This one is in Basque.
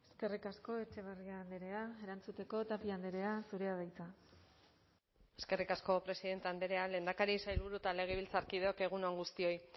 eskerrik asko etxebarria andrea erantzuteko tapia andrea zurea da hitza eskerrik asko presidente andrea lehendakari sailburu eta legebiltzarkideok egun on guztioi